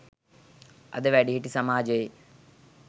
අද වැඩිහිටි සමාජයේ